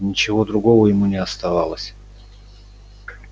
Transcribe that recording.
ничего другого ему не оставалось